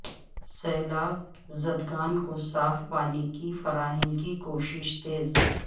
سیلاب زدگان کو صاف پانی کی فراہمی کی کوششیں تیز